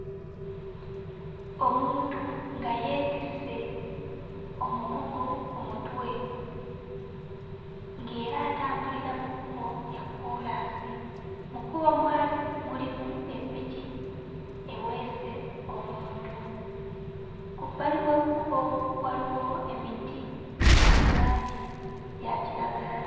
Omuntu nga yeetisse omugugu ku mutwe ng'era atambulira mu kkubo lya kkoolaasi. Mu kkubo mwali mulimu eppiki eweese omuntu, ku bbali w'ekkubo waliwo emiti, giri mu langi ya kiragala.